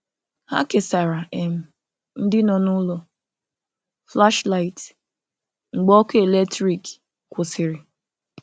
Hà kesàrà̀ um ndị nọ n’ụlọ̀ flashlight mgbe ọkụ̀ eletrik kwụsịrị̀.